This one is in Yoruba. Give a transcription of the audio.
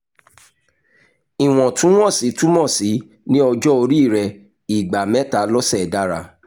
ìwọ̀ntúnwọ̀nsì túmọ̀ sí ní ọjọ́ orí rẹ ìgbà mẹ́ta lọ́sẹ̀ dára